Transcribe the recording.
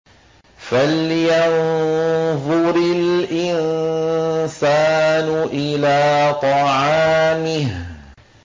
فَلْيَنظُرِ الْإِنسَانُ إِلَىٰ طَعَامِهِ